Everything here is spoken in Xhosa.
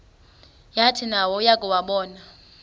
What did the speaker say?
yathi nayo yakuwabona